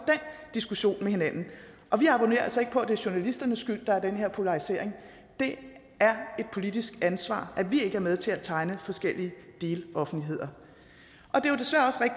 diskussion med hinanden og vi abonnerer altså ikke på at det er journalisternes skyld at der er den her polarisering det er et politisk ansvar at vi ikke er med til at tegne forskellige deloffentligheder